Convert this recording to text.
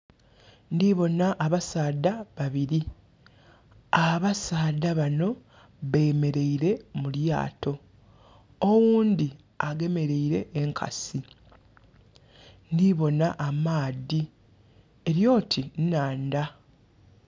Ndibonha abasaadha babiri, abasaadha banho bemereire mulyaato. Oghundhi agemeleire enkasi. Ndhibonha amaadhi eri oti nhandha.